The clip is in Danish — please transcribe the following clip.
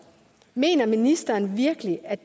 mener ministeren virkelig at